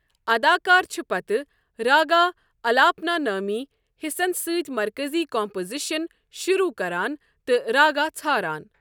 اداکار چھِ پتہٕ راگا الاپنا نٲمی حِصن سۭتۍ مرکزی کمپوزیشن شروع کران تہٕ راگا ژھاران۔